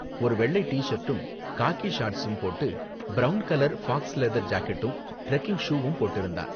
ஒரு வெள்ளை டி சர்ட்டும் காக்கி ஷார்ட்ஸும் போட்டு பிரவுன் கலர் ஃபாக்ஸ் லெதர் ஜாக்கெட்டும் ட்ரெக்கிங் ஷூவும் போட்டிருந்தான்.